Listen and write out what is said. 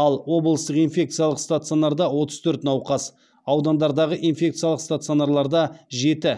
ал облыстық инфекциялық стационарда отыз төрт науқас аудандардағы инфекциялық стационарларда жеті